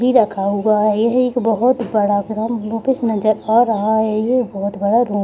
भी रखा हुआ है यह एक बहुत बड़ा नजर आ रहा है यह बहुत बड़ा रो --